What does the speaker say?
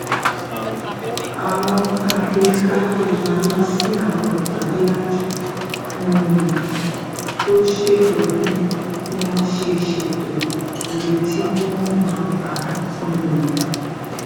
àwọn àgbè kákó máa lọ sí àwọn ìpàdé àjọ um tó ṣètò bí wón ṣe ṣètò iye tí wón máa ta um